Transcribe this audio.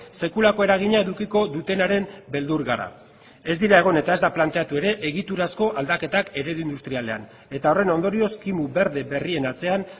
sekulako eragina edukiko dutenaren beldur gara ez dira egon eta ez da planteatu ere egiturazko aldaketak eredu industrialean eta horren ondorioz kimu berde berrien atzean